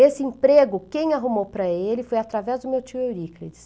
Esse emprego, quem arrumou para ele foi através do meu tio Euríclides.